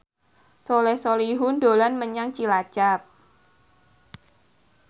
Soleh Solihun dolan menyang Cilacap